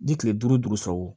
Ni kile duuru sɔrɔ